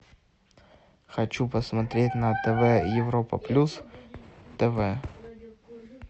хочу посмотреть на тв европа плюс тв